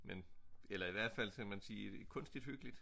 Men eller i hvert fald skal man sige kunstigt hyggeligt